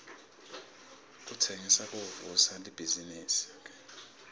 kutsengisa kuvusa libhizinifi